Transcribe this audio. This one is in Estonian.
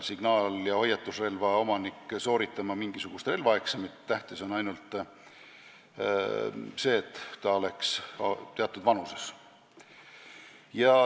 Signaal- või hoiatusrelva omanik ei pea sooritama mingisugust relvaeksamit, tähtis on ainult, et ta oleks teatud vanuses.